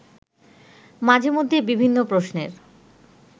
মাঝে মধ্যে বিভিন্ন প্রশ্নের